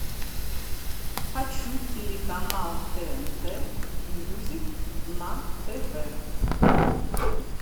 хочу телеканал тнт мьюзик на тв